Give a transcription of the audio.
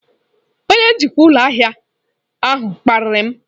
Onye njikwa ụlọ ahịa ahụ kparịrị m.